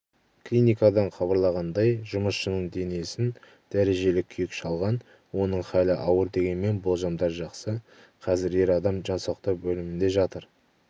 клиникадан хабарлағандай жұмысшының денесін дәрежелі күйік шалған оның халі ауыр дегенмен болжамдар жақсы қазір ер адам жан сақтау бөлімінде жатыр